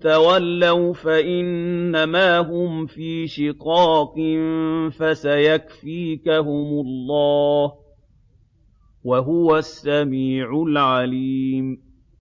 تَوَلَّوْا فَإِنَّمَا هُمْ فِي شِقَاقٍ ۖ فَسَيَكْفِيكَهُمُ اللَّهُ ۚ وَهُوَ السَّمِيعُ الْعَلِيمُ